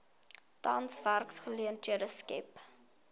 tans werksgeleenthede skep